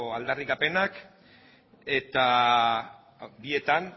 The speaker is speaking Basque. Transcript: aldarrikapenak eta bietan